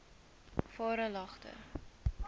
varelagte